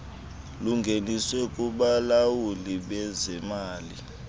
lungeniswe kubalawuli bezemali